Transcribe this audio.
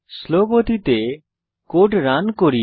slow গতিতে code run করি